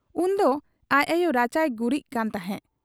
ᱩᱱᱫᱚ ᱟᱡ ᱟᱭᱚ ᱨᱟᱪᱟᱭ ᱜᱩᱜᱨᱤᱡ ᱠᱟᱱ ᱛᱟᱦᱮᱸ ᱾